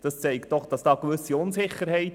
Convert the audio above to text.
Dies zeigt eine gewisse Unsicherheit.